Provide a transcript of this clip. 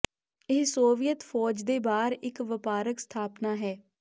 ਇਹ ਸੋਵੀਅਤ ਫੌਜ ਦੇ ਬਾਹਰ ਇੱਕ ਵਪਾਰਕ ਸਥਾਪਨਾ ਹੈ